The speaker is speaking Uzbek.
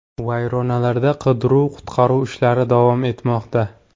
Vayronalarda qidiruv-qutqaruv ishlari davom etmoqda.